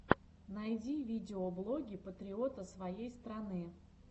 найди видеоблоги патриота своей страны